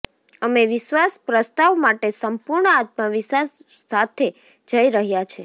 અમે વિશ્વાસ પ્રસ્તાવ માટે સંપૂર્ણ આત્મવિશ્વાસ સાથે જઇ રહ્યા છે